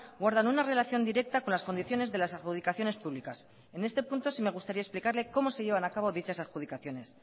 guardan una relación directa con las condiciones de las adjudicaciones públicas en este punto sí me gustaría explicarle cómo se llevan a cabo dichas adjudicaciones